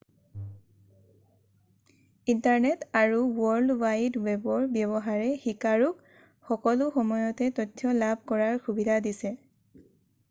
internet আৰু world wide ৱেবৰ ব্যৱহাৰে শিকাৰুক সকলো সময়তে তথ্য লাভ কৰাৰ সুবিধা দিছে